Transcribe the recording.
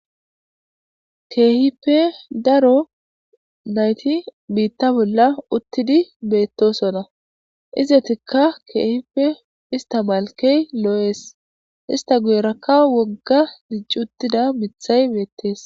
Kehippe daro naytti bitta bolla uttidi bettossona ezatika kehippe istta malkkey lo's istta guyerekka wogga dicci uttidda mithay bettees.